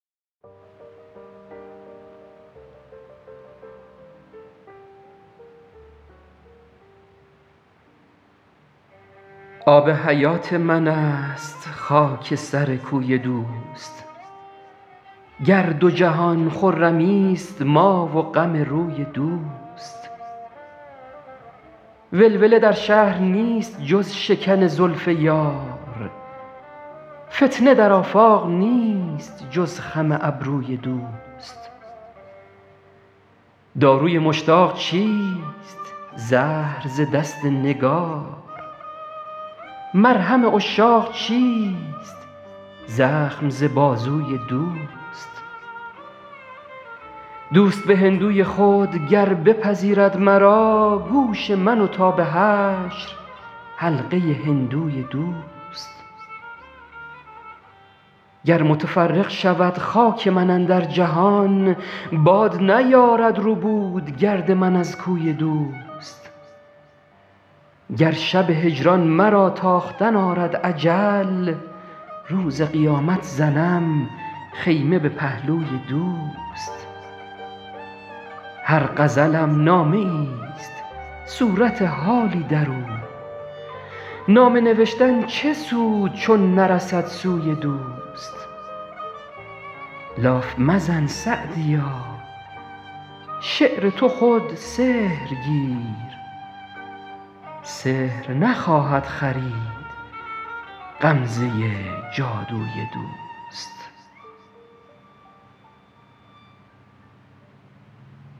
آب حیات من است خاک سر کوی دوست گر دو جهان خرمیست ما و غم روی دوست ولوله در شهر نیست جز شکن زلف یار فتنه در آفاق نیست جز خم ابروی دوست داروی مشتاق چیست زهر ز دست نگار مرهم عشاق چیست زخم ز بازوی دوست دوست به هندوی خود گر بپذیرد مرا گوش من و تا به حشر حلقه هندوی دوست گر متفرق شود خاک من اندر جهان باد نیارد ربود گرد من از کوی دوست گر شب هجران مرا تاختن آرد اجل روز قیامت زنم خیمه به پهلوی دوست هر غزلم نامه ایست صورت حالی در او نامه نوشتن چه سود چون نرسد سوی دوست لاف مزن سعدیا شعر تو خود سحر گیر سحر نخواهد خرید غمزه جادوی دوست